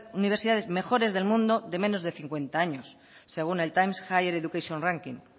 universidades mejores del mundo de menos de cincuenta años según el times higher education ranking